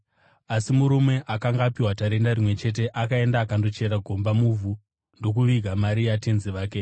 Asi murume akanga apiwa tarenda rimwe chete akaenda akandochera gomba muvhu ndokuviga mari yatenzi wake.